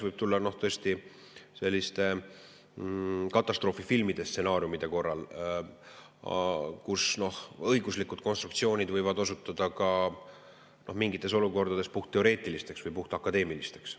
Tõesti, selliste katastroofifilmide stsenaariumide korral võivad õiguslikud konstruktsioonid mingites olukordades osutuda puhtteoreetilisteks või puhtakadeemilisteks.